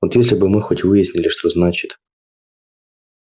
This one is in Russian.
вот если бы мы хоть выяснили что значит